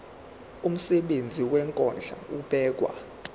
umsebenzi wokondla ubekwa